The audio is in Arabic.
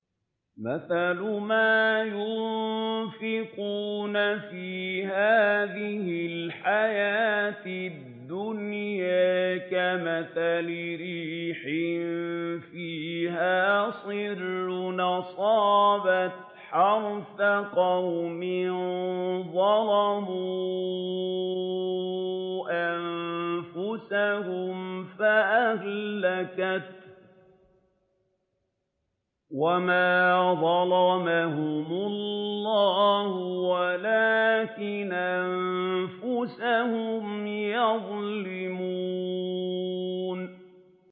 مَثَلُ مَا يُنفِقُونَ فِي هَٰذِهِ الْحَيَاةِ الدُّنْيَا كَمَثَلِ رِيحٍ فِيهَا صِرٌّ أَصَابَتْ حَرْثَ قَوْمٍ ظَلَمُوا أَنفُسَهُمْ فَأَهْلَكَتْهُ ۚ وَمَا ظَلَمَهُمُ اللَّهُ وَلَٰكِنْ أَنفُسَهُمْ يَظْلِمُونَ